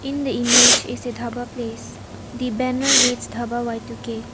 In the image is a dhaba place the banner reads dhaba Y two K.